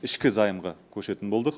ішкі займға көшетін болдық